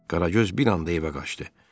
Qaragöz bir anda evə qaçdı.